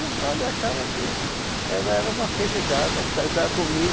o padre achava que ela era uma felizarda em casar comigo.